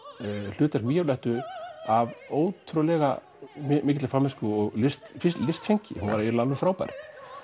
hlutverk Víólettu af ótrúlega mikilli fagmennsku og listfengi listfengi hún var alveg frábær